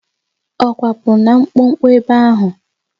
Ọ kwapụrụ na mkpọkpọ ebe áhụ̀?